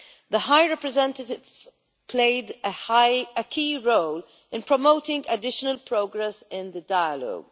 The High Representative played a key role in promoting additional progress in the dialogue.